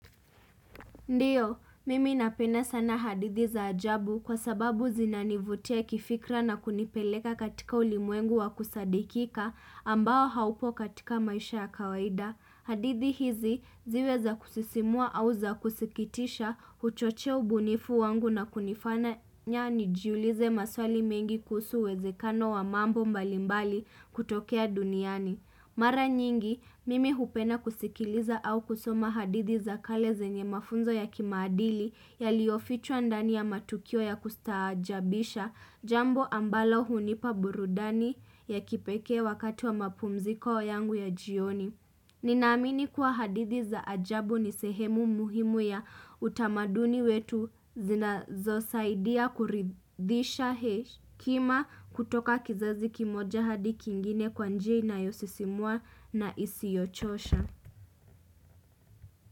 Ndiyo, mimi napenda sana hadithi za ajabu kwa sababu zinanivutia kifikra na kunipeleka katika ulimwengu wa kusadikika ambao haupo katika maisha ya kawaida. Hadithi hizi ziwe za kusisimua au za kusikitisha huchochea ubunifu wangu na kunifanya nijiulize maswali mengi kuhusu uwezekano wa mambo mbalimbali kutokea duniani. Mara nyingi, mimi hupenda kusikiliza au kusoma hadithi za kale zenye mafunzo ya kimaadili yaliyofichwa ndani ya matukio ya kustaajabisha, jambo ambalo hunipa burudani ya kipekee wakati wa mapumziko yangu ya jioni. Ninaamini kuwa hadithi za ajabu ni sehemu muhimu ya utamaduni wetu zinazosaidia kuridhisha hekima kutoka kizazi kimoja hadi kingine kwa njia inayosisimua na isiyochosha.